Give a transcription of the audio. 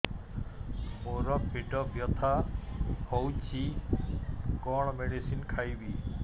ମୋର ପେଟ ବ୍ୟଥା ହଉଚି କଣ ମେଡିସିନ ଖାଇବି